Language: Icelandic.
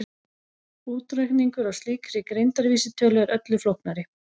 Útreikningur á slíkri greindarvísitölu er öllu flóknari.